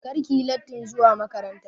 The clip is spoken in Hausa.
Kar ki yi lattin zuwa makaranta!